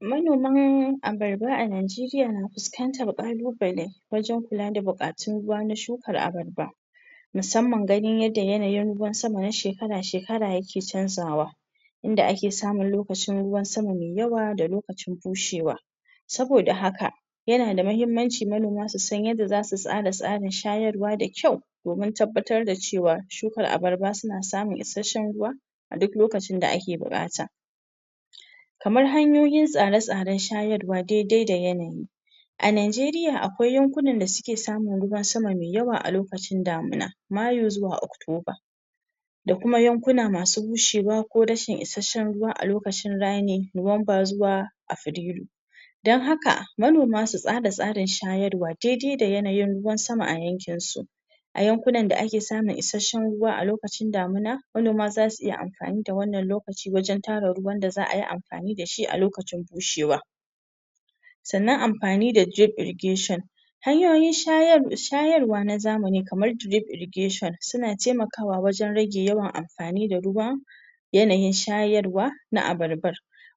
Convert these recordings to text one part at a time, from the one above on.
Manoman abarba a Najeriya na fuskantar ƙalubale wajen kula da buƙatun ruwa na shukan abarba musamman ganin yadda yanayin ruwa na shekara shekara ya ke canzawa inda ake samun lokacin ruwan sama mai yawa da lokacin bushewa. Saboda haka yana da mahimmanci manoma su san yadda za su tsara tsarin shayarwa da kyau domin tabbatar da cewa shukan abarba na samun ruwa a duk lokacin da ake buƙata. Kamar hanyoyin tsare tsaren shayarwa daidai da yanayi. A Najeriya akwai yankunan da suke samun ruwan sama mai yawa a lokacin damina Mayu zuwa Oktoba da kuma yankuna masu bushewa ko rashin isasshen ruwa a lokacin rani Nuwamba zuwa Afrilu dan haka manoma su tsara tsarin shayarwa daidai da yanayin ruwan sama a yankinsu a yankunan da ake samun isasshen ruwa manoma su yi amfani da wannan lokaci dan tara ruwan da za su amfani da shi a lokacin bushewa. Sannan amfani da irrigation hanyoyin shayarwa na zamani kamar drib irrigation suna taimakawa wajen rage yawan amfani da ruwa yanayin shayarwa na abarbar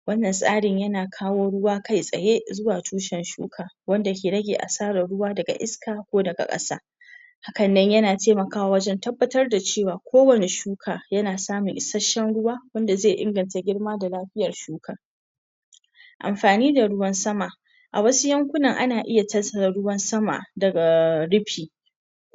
wannan tsari yana kawo ruwa kai tsaye zuwa tushen tushen shukar wanda ke rage asarar ruwa daga iska ko daga ƙasa hakannan yana taimakawa wajen tabbatar da cewa kowane shuka yana samun isasshen ruwa wanda zai inganta girma da lafiyan shuka. Amfani da ruwan sama, a wasu yankunan ana iya tattara ruwan sama daga rufi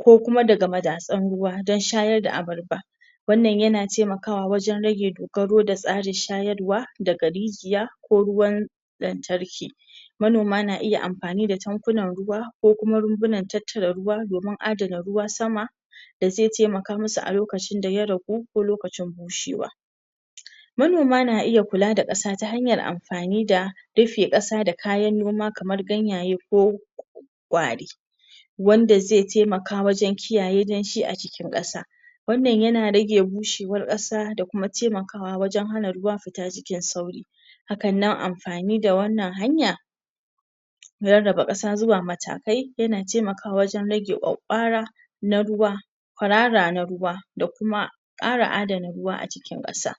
ko kuma daga madatsun ruwa dan shayar da abarba wannan yana taimakawa wajen rage dogaro da tsarin shayarwa na daga rijiya ko ruwan lantarki. Manoma na iya amfani da tankunan ruwa ko kuma rumbunan tattara ruwa domin adana ruwan sama da zai taimaka musu lokacin da ya ragu lokacin bushewa. Manoma na iya kula da ƙasa ta hanyan amfani da rufe ƙasa da kayan noma kamar ganyaye ko ƙwari wanda zai taimaka wajen kiyaye danshi a cikin ƙasa. Wannan yana rage bushewar ƙasa da kuma taimakawa wajen hana ruwa fita cikin sauri, hakannan amfani da wannan hanya na rarraba ƙasa zuwa matakai yana taimakawa wajen rage kwakkwara na ruwa kwarara na ruwa kwarara na ruwa da kuma dabarar adana ruwa a cikin kasa.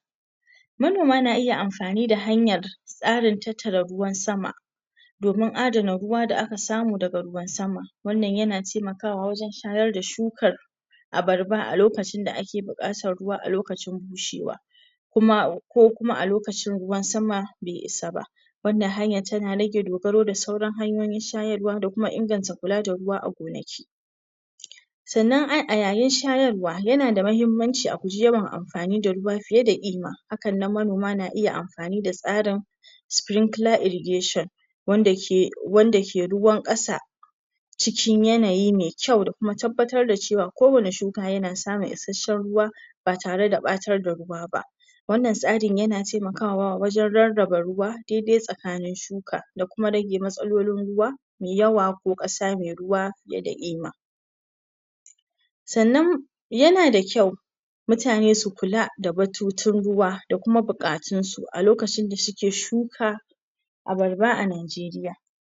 Manoma na iya amfani da hanyar tsarin tattara ruwan sama domin adana ruwa da aka samu daga ruwan sama wannan yana taimakawa wajen shayar da shukan abarba a lokacin da ake bukata lokacin bushewa kuma ko kuma a lokacin ruwan sama bai isa ba wannan hanya tana rage dogaro da sauran hanyoyin shayarwa da kuma kula da ruwa a gonaki. Sannan a yayin shayarwa yana da mahimmanci a guje wa amfani da ruwa fiye da kima sannan manoma na iya amfani da tsarin sprinkler irrigation wanda ke wanda ke ruwan kasa cikin yanayi mai kyau da kuma tabbatar da cewa kowane shuka yana samun isasshen ruwa ba tare da batar da ruwa ba wannan tsarin yana taimakawa wajen rarraba ruwa daidai tsakanin shuka da kuma rage matsalolin ruwa mai yawa ko kasa mai ruwa fiye da kima sannan yana da kyau mutane su kula da batutun ruwa da kuma buƙatun su lokacin da suke shuka abarba a Najeriya.